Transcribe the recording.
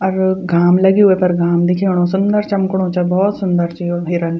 अर घाम लग्युं वेफर घाम दिखेणु सुन्दर चमकणु च भोत सुन्दर च यु हिरन।